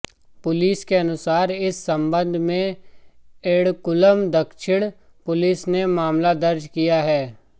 police के अनुसार इस संबंध में एर्णाकुलम दक्षिण पुलिस ने एक मामला दर्ज किया है